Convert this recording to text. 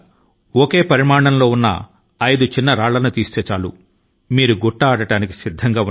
ఒకే పరిమాణం లో ఐదు చిన్న రాళ్ల ను పట్టుకోవడమే ఈ ఆట